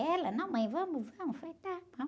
Ela, não mãe, vamos, vamos, falei, tá, vamos.